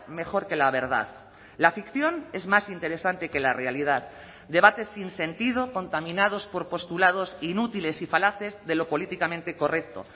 mejor que la verdad la ficción es más interesante que la realidad debates sin sentido contaminados por postulados inútiles y falaces de lo políticamente correcto